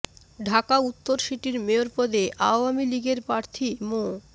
ঢাকা উত্তর সিটির মেয়র পদে আওয়ামী লীগের প্রার্থী মো